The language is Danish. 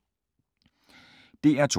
DR2